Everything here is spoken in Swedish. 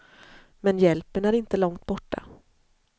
Men hjälpen är inte långt borta.